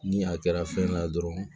Ni a kɛra fɛn na dɔrɔn